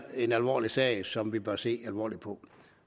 en alvorlig sag som vi bør se alvorligt på